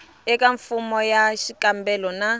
eka fomo ya xikombelo na